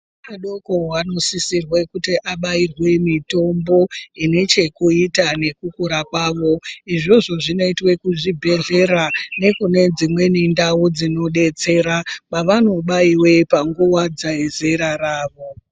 Vana vadoko vanosisirwe kuti vabairwe mitombo inechekuita nekukura kwavo. Izvozvo zvingaitwe kuzvibhedhlera nekune dzimweni ndau dzinodetsera pavanobaiwe panguva dzezera ravo.